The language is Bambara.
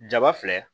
Jaba filɛ